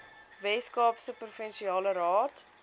weskaapse provinsiale raad